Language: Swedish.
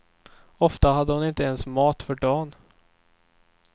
Ofta hade hon inte ens mat för dan.